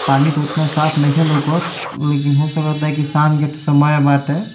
पानी तो इतना साफ नयखे लौकत लेकिन होये सके ता की शाम के समय बाटे।